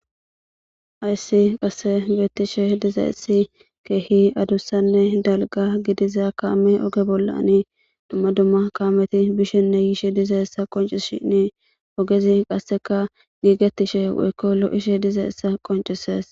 Ayssi qasse beettishe dizaessi keehi adussanne dalga gidiza kaami oge bollani dumma dumma kaameti bishenne yiishe dizaessa qonci shinni ogezi qasseka giigetishe ekko lo7ishe dizaessa qoncises